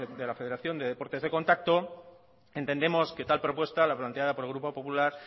de la federación de deportes de contacto entendemos que tal propuesta la planteada por el grupo popular